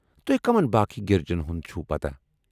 تُہۍ کٔمن باقی گِرجن ہُند چھُو پتاہ؟